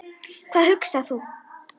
Hvað hugsar þú?